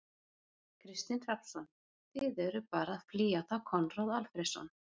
Kristinn Hrafnsson: Þið eruð bara að flýja þá Konráð Alfreðsson?